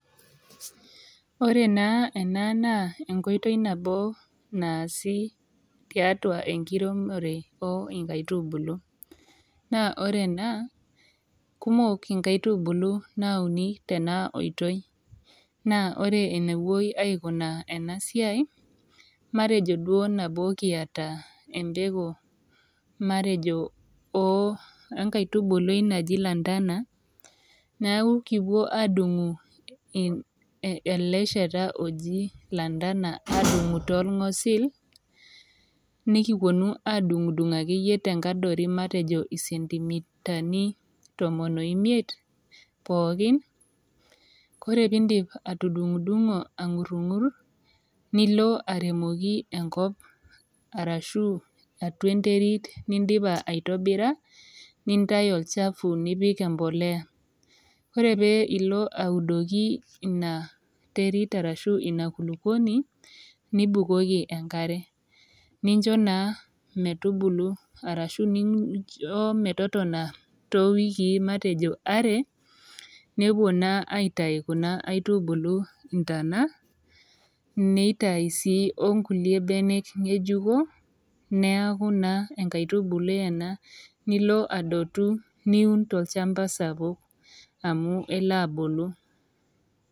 Ore naa ena naa enkoitoi nabo naasi tiatua enkiremore oinkaitubulu naa ore ena kumok inkaitubulu nauni tena oitoi naa ore enepuoi aikunaa ena siai matejo duo nabo kiata empeku matejo oh enkaitubului naji lantana neaku kipuo adung'u e ele shata loji lantana adung'u tolng'osil nikikuonu adung'udung akeyie tenkadori matejo isentimitani tomon oimiet pookin kore pindip atudung'udung'o ang'urrung'ur nilo aremoki enkop arashu atua enterit nindipa aitobira nintai olchafu nipik empoleya ore pee ilo audoki ina terit arashu ina kulukuoni nibukoki nincho naa metubulu arashu nincho metotona towikii matejo are nepuo naa aitai kuna aitubulu intana neitai sii onkulie benek ng'ejuko neaku naa enkaitubului ena nilo adotu niun tolchamba sapuk amu elo abulu.